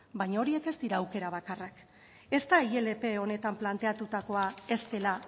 baino horiek ez dira aukera bakarrak ez da ilp honetan planteatutakoa ez dela